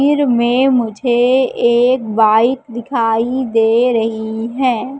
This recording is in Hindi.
में मुझे एक बाइक दिखाई दे रही है।